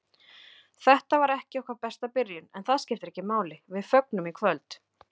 Þetta var ekki okkar besta byrjun, en það skiptir ekki máli, við fögnum í kvöld.